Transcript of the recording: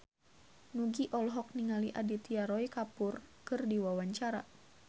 Nugie olohok ningali Aditya Roy Kapoor keur diwawancara